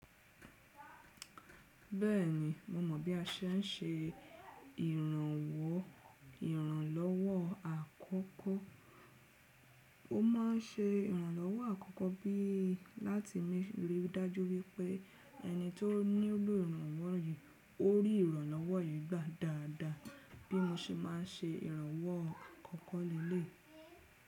Bẹ́ẹ̀ni, mo mọ̀ bí a ṣe ń ṣe ìrànwọ́ ìrànlọ́wọ́ àkọ́kọ́. Mo máa ń ṣe ìrànlọ́wọ́ àkọ́kọ́ bí láti rí i dájú wípé ẹni tó nílò ìrànwọ́ yìí ó rí ìrànlọ́wọ́ yìí gbà dáadáa bí mo ṣe máa ń ṣe ìrànwọ́ àkọ́kọ́ léle yi.